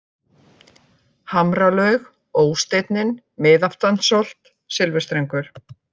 Hamralaug, Ó-steinninn, Miðaftansholt, Silfurstrengur